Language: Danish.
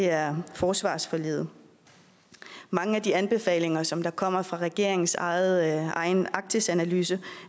er forsvarsforliget mange af de anbefalinger som der kommer fra regeringens egen arktisanalyse